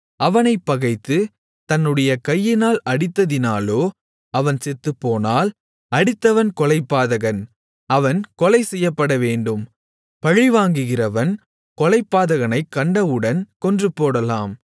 அவனைப் பகைத்து தன்னுடைய கையினால் அடித்ததினாலோ அவன் செத்துப்போனால் அடித்தவன் கொலைபாதகன் அவன் கொலைசெய்யப்படவேண்டும் பழிவாங்குகிறவன் கொலைபாதகனைக் கண்டவுடன் கொன்றுபோடலாம்